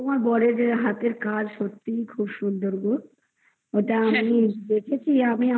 তোমার বরের হাতের কাজ সত্যি খুব সুন্দর গো ওটা আমি দেখেছি আমি আমার